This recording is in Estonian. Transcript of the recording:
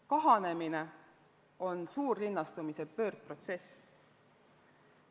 Kahanemine on suurlinnastumise pöördprotsess.